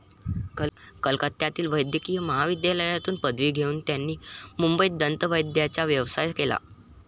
कलकत्त्यातील वैद्यकीय महाविद्यालयातून पदवी घेऊन त्यांनी मुंबईत दंतवैद्याचा व्यवसाय केला.